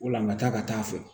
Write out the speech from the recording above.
O la n ka taa ka taa a fɛ